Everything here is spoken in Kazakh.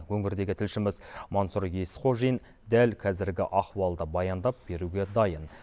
өңірдегі тілшіміз мансұр есқожин дәл кәзіргі ахуалды баяндап беруге дайын